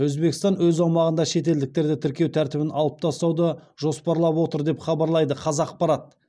өзбекстан өз аумағында шетелдіктерді тіркеу тәртібін алып тастауды жоспарлап отыр деп хабарлайды қазақпарат